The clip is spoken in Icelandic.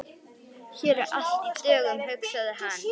Hér er allt í dögun, hugsaði hann.